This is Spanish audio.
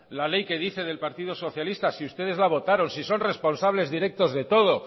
la ley que dice del partido socialista si ustedes la votaron si son responsables directos de todo